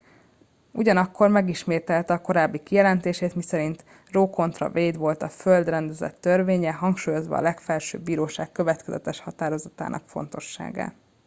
"ugyanakkor megismételte korábbi kijelentését miszerint a roe kontra wade volt a "föld rendezett törvénye" hangsúlyozva a legfelsőbb bíróság következetes határozatainak fontosságát.